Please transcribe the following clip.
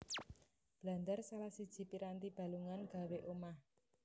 Blandar salah siji piranti balungan gawé omah